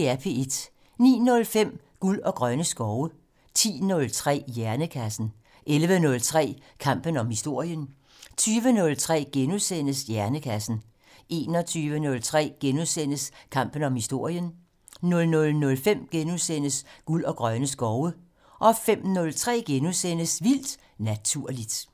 09:05: Guld og grønne skove 10:03: Hjernekassen 11:03: Kampen om historien 20:03: Hjernekassen * 21:03: Kampen om historien * 00:05: Guld og grønne skove * 05:03: Vildt Naturligt *